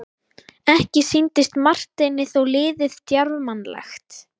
Ekki sýndist Marteini þó liðið djarfmannlegt.